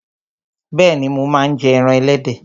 Bẹ́ẹ̀ni, mo máa ń jẹ ẹran ẹlẹ́dẹ̀